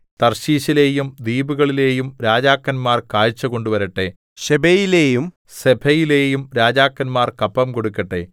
തർശീശിലെയും ദ്വീപുകളിലെയും രാജാക്കന്മാർ കാഴ്ച കൊണ്ടുവരട്ടെ ശെബയിലെയും സെബയിലെയും രാജാക്കന്മാർ കപ്പം കൊടുക്കട്ടെ